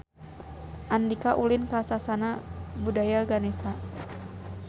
Andika ulin ka Sasana Budaya Ganesha